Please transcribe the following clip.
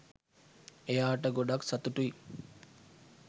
එයාට ගොඩක් සතුටුයි